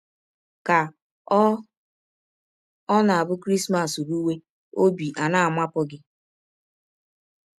Ka ọ̀ ọ̀ na - abụ Krismas rụwe, ọbi ana - amapụ gị?